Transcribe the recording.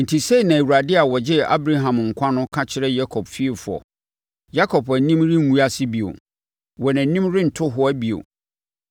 Enti sei na Awurade a ɔgyee Abraham nkwa no ka kyerɛ Yakob fiefoɔ: Yakob anim renguase bio; wɔn anim rento hoa bio.